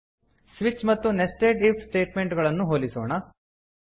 switch ಮತ್ತು nested if statement ಗಳನ್ನು ಹೋಲಿಸೋಣ